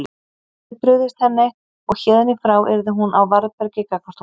Hann hafði brugðist henni og héðan í frá yrði hún á varðbergi gagnvart honum.